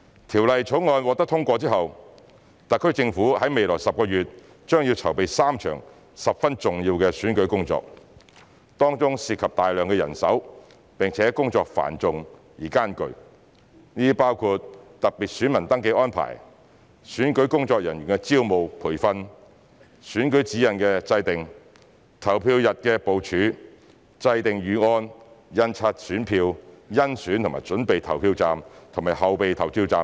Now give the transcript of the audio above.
《條例草案》獲得通過後，特區政府在未來10個月內將要籌備3場十分重要的選舉工作，當中涉及大量人手並且工作繁重而艱巨，這包括特別選民登記安排、選舉工作人員的招募和培訓、選舉指引的制訂、投票日的部署、制訂預案、印刷選票、甄選及準備投票站和後備票站等。